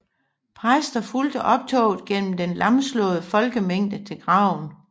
Præster fulgte optoget gennem den lamslåede folkemængde til graven